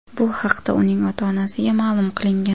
Bu haqda uning ota-onasiga ma’lum qilingan.